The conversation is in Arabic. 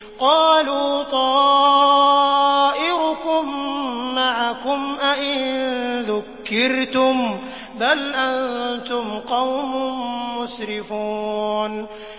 قَالُوا طَائِرُكُم مَّعَكُمْ ۚ أَئِن ذُكِّرْتُم ۚ بَلْ أَنتُمْ قَوْمٌ مُّسْرِفُونَ